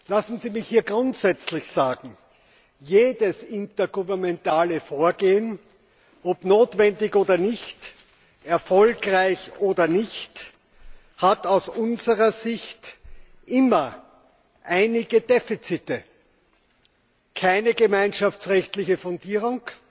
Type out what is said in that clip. Lassen Sie mich hier grundsätzlich sagen Jedes intergouvernementale Vorgehen ob notwendig oder nicht, ob erfolgreich oder nicht hat aus unserer Sicht immer einige Defizite keine gemeinschaftsrechtliche Fundierung